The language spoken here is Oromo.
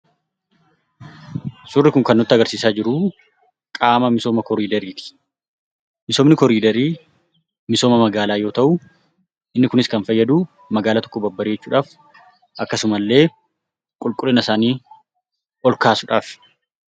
Suurri kun kan nutti agarsiisaa jiru qaama misooma koriidariiti. Misoomni koriidarii misooma magaalaa yoo ta'u, inni kunis kan fayyadu magaalaa tokko babbareechuudhaaf akkasumallee qulqullina isaanii ol kaasuudhaafi.